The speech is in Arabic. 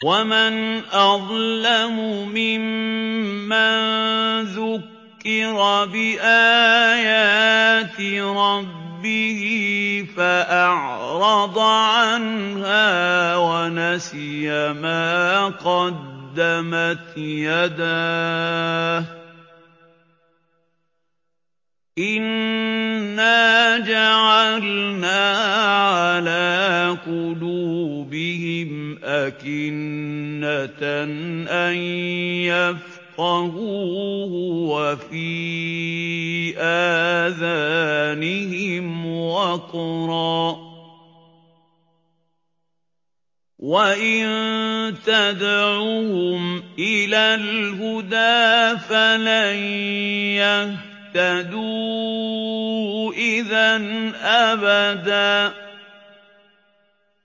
وَمَنْ أَظْلَمُ مِمَّن ذُكِّرَ بِآيَاتِ رَبِّهِ فَأَعْرَضَ عَنْهَا وَنَسِيَ مَا قَدَّمَتْ يَدَاهُ ۚ إِنَّا جَعَلْنَا عَلَىٰ قُلُوبِهِمْ أَكِنَّةً أَن يَفْقَهُوهُ وَفِي آذَانِهِمْ وَقْرًا ۖ وَإِن تَدْعُهُمْ إِلَى الْهُدَىٰ فَلَن يَهْتَدُوا إِذًا أَبَدًا